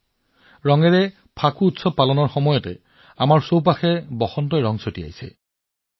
যেতিয়া আমি ৰঙেৰে হোলী উদযাপন কৰি আছো বসন্তইও আমাৰ চাৰিওফালে ৰং সিঁচৰতি কৰি তুলিছে